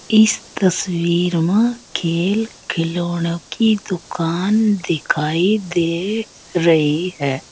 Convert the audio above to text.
इस तस्वीर मा खेल खिलौनों की दुकान दिखाई दे रही है।